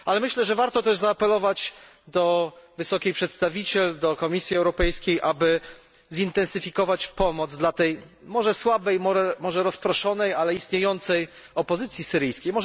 Ale myślę, że warto zaapelować też do Wysokiej Przedstawiciel, do Komisji Europejskiej, aby zintensyfikować pomoc dla tej może słabej, może rozproszonej, ale istniejącej opozycji syryjskiej.